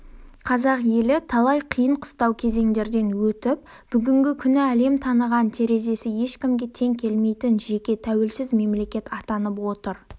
қазақ елі талай қиын қыстау кезеңдерден өтіп бүгінгі күні әлем таныған терезесі ешкімге тең келмейтін жеке тәуелсіз мемлекет атанып отыр